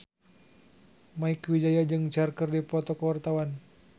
Mieke Wijaya jeung Cher keur dipoto ku wartawan